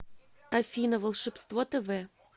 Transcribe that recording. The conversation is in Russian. афина волшебство тэ вэ